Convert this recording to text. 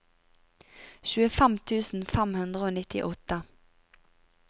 tjuefem tusen fem hundre og nittiåtte